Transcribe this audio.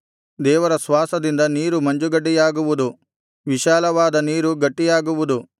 ದೇವರ ಶ್ವಾಸದಿಂದ ನೀರು ಮಂಜುಗಡ್ಡೆಯಾಗುವುದು ವಿಶಾಲವಾದ ನೀರು ಗಟ್ಟಿಯಾಗುವುದು